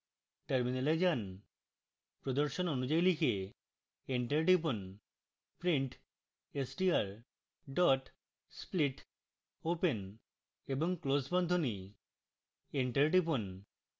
terminal যান